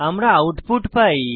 আমরা আউটপুট পাই